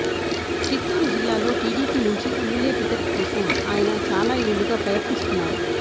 చిత్తూరు జిల్లాలో టీడీపీ నుంచి MLA ticket కోసం ఆయన చాలా ఏళ్లుగా ప్రయత్నిస్తున్నారు